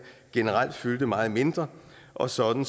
generelt fyldte meget mindre og sådan